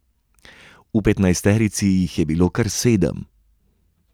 V petnajsterici jih je bilo kar sedem.